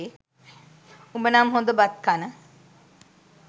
උඹ නම් හොද බත් කන